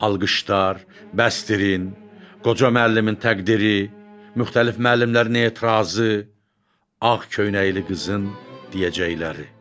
Alqışlar, bəsdirin, qoca müəllimin təqdiri, müxtəlif müəllimlərin etirazı, ağ köynəkli qızın deyəcəkləri.